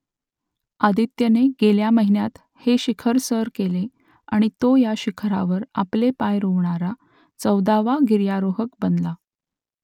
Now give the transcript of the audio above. आदित्यने गेल्या महिन्यात हे शिखर सर केले आणि तो या शिखरावर आपले पाय रोवणारा चौदावा गिर्यारोहक बनला